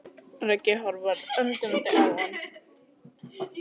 Raggi horfir undrandi á hann.